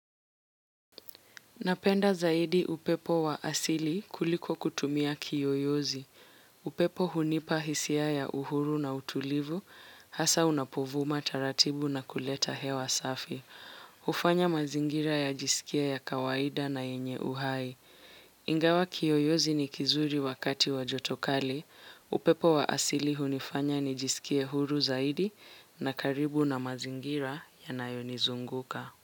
Napenda zaidi upepo wa asili kuliko kutumia kiyoyozi. Upepo hunipa hisia ya uhuru na utulivu, hasa unapovuma taratibu na kuleta hewa safi. Hufanya mazingira yajisikie ya kawaida na yenye uhai. Ingawa kiyoyozi ni kizuri wakati wa joto kali. Upepo wa asili hunifanya nijisikie huru zaidi na karibu na mazingira yanayonizunguka.